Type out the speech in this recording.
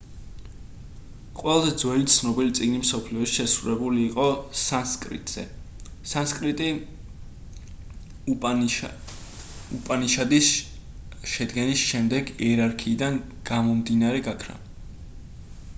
ყველაზე ძველი ცნობილი წიგნი მსოფლიოში შესრულებული იყო სანსკრიტზე სანსკრიტი უპანიშადის შედგენის შემდეგ იერარქიიდან გამომდინარე გაქრა